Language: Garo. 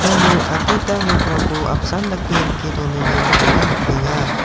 iano adita nokrangko apsan dake rike donanirangkoba nikenga.